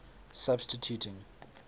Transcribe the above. substituting